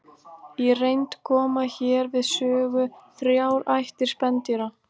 í reynd koma hér við sögu þrjár ættir spendýra